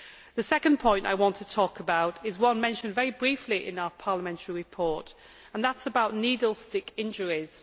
The second point I want to talk about is one mentioned very briefly in our parliamentary report, and that is needle stick injuries.